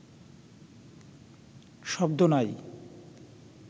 শব্দ নাই